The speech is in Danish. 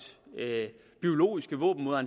biologiske våben mod